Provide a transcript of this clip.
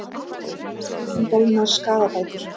Ættingjum boðnar skaðabætur